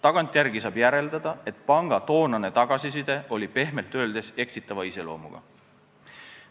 Tagantjärele saab järeldada, et panga toonane tagasiside oli pehmelt öeldes eksitava iseloomuga.